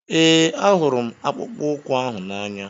Ee, ahụrụ m akpụkpọ ụkwụ ahụ n'anya.